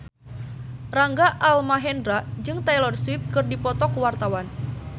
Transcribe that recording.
Rangga Almahendra jeung Taylor Swift keur dipoto ku wartawan